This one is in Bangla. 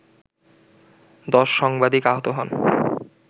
১০ সাংবাদিক আহত হন